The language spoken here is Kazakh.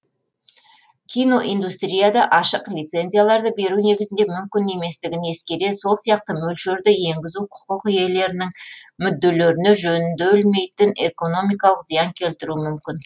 киноиндустрияда ашық лицензияларды беру негізінде мүмкін еместігін ескере сол сияқты мөлшерді енгізу құқық иелерінің мүдделеріне жөнделмейтін экономикалық зиян келтіруі мүмкін